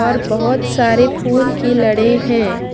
और बहोत सारे फूल की लड़े हैं।